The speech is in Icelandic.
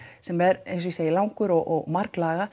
sem er eins og ég segi langur og